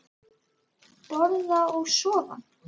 Borða og sofa.